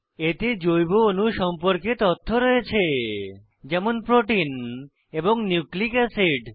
এতে জৈব অণু সম্পর্কে তথ্য রয়েছে যেমন প্রোটিন এবং নিউক্লিক অ্যাসিড